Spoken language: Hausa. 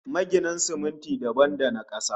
Magina siminti dabam da na kasa